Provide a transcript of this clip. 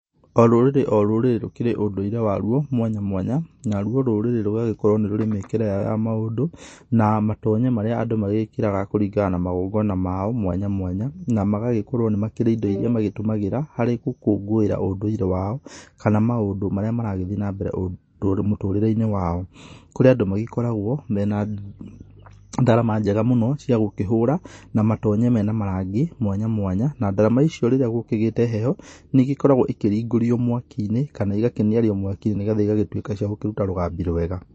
O rũrĩrĩ o rũrĩrĩ rukĩrĩ ũndũire warũo, mwanya mwanya, naruo rũrĩrĩ rugagĩkorwo nĩĩ rũrĩĩ mĩkĩre yao ya maũndũ, na matonye marĩa andũ magĩkĩraga kũringana na magongona mao mwanya mwanya, na magagĩkorwó nĩĩ makĩrĩ indo iria magĩgĩtumagĩra, harĩ gũkũngũĩra ũndũire wao, kana maũndũ marĩa maragĩthĩe na mbere rũ mũtũrĩreĩnĩ wao, kurĩa andũ magĩkoragwo mena ngarama njega mũno cia gũkĩhũra, na matonye mena marangi, mwánya mwánya, na ndarama icio rĩrĩa gũkĩgĩte heho, nĩĩ ĩgĩkoragwo ikĩringũrĩo mwakiinĩ, kana ikaniarĩo mwakĩnĩ, nĩgetha igagĩtũĩka cia gũkĩruta rũgabi rwega.